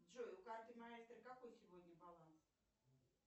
джой у карты маэстро какой сегодня баланс